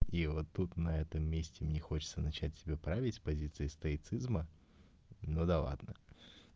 и вот тут на этом месте мне хочется начать себя править с позиции стоицизма но да ладно